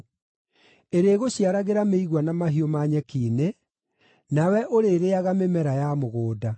Ĩrĩgũciaragĩra mĩigua na mahiũ ma nyeki-inĩ, nawe ũrĩrĩĩaga mĩmera ya mũgũnda.